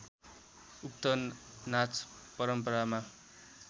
उक्त नाच परम्परामा